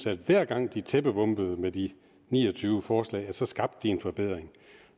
at hver gang de tæppebombede med de ni og tyve forslag så skabte de en forbedring